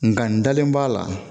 Nka n dalen b'a la